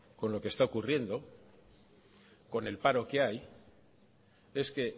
con lo que está ocurriendo y con el paro que hay es que